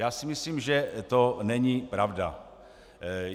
Já si myslím, že to není pravda.